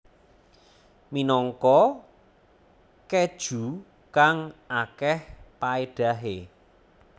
Minangka keju kang akeh paedahe